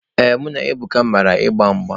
Ee, mụ bụ Ebuka mara agba mgba.